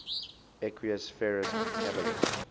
equus ferus caballus